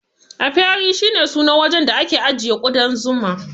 Apiary shi ne sunan wajen da ake ajiyan kudan Zuma.